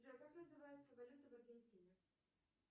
джой как называется валюта в аргентине